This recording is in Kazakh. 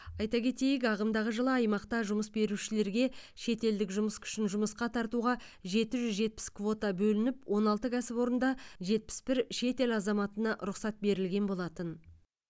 айта кетейік ағымдағы жылы аймақта жұмыс берушілерге шетелдік жұмыс күшін жұмысқа тартуға жеті жүз жетпіс квота бөлініп он алты кәсіпорында жетпіс бір шетел азаматына рұқсат берілген болатын